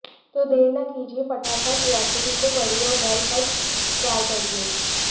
तो देर न कीजिये फटाफट रेसिपी को पढ़िए और घर पट ट्राई करिए